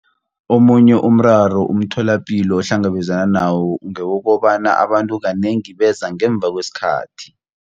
Omunye umraro umtholapilo ohlangabezana nawo ngewokobana abantu kanengi beza ngemva kwesikhathi.